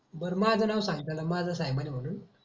बर माझ नाव सांगतल का माझस आहे सायमान म्हणून.